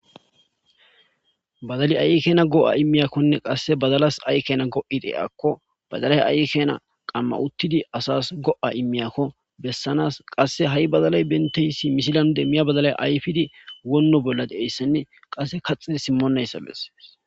Badalay ay kena go'a imiyakonne qase badalas ay kena go'a diyako badalay ay keena qama utid asas go'a imiyako besanas qase badalay benippe simisidan demiya badalay ayfid wono bolla de'iyaysanne qase kaxid simonaysa beses.